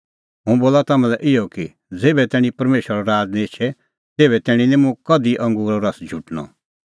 हुंह बोला तम्हां लै इहअ कि ज़ेभै तैणीं परमेशरो राज़ निं एछे तेभै तैणीं निं मुंह कधि अंगूरो रस झुटणअ